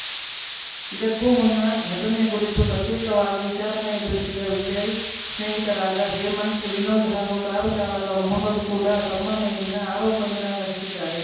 ಇದಕ್ಕೂ ಮುನ್ನ ಘಟನೆ ಕುರಿತು ಪ್ರತ್ಯೇಕವಾಗಿ ವಿಚಾರಣೆ ಎದುರಿಸಿದ ವಿಜಯ್‌ ಸ್ನೇಹಿತರಾದ ಹೇಮಂತ್‌ ವಿನೋದ್‌ ಹಾಗೂ ಕಾರು ಚಾಲಕ ಮೊಹಮ್ಮದ್‌ ಕೂಡಾ ತಮ್ಮ ಮೇಲಿನ ಆರೋಪ ನಿರಾಕರಿಸಿದ್ದಾರೆ